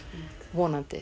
vonandi